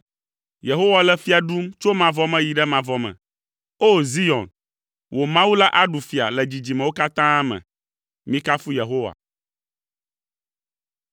Yehowa le fia ɖum tso mavɔ me yi ɖe mavɔ me. O! Zion, wò Mawu la aɖu fia le dzidzimewo katã me. Mikafu Yehowa.